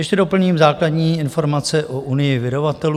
Ještě doplním základní informace o Unii vydavatelů.